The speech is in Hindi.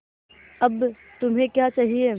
अब तुम्हें क्या चाहिए